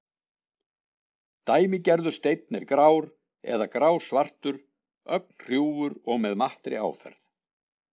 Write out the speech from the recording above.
Dæmigerður steinn er grár eða grá-svartur, ögn hrjúfur og með mattri áferð.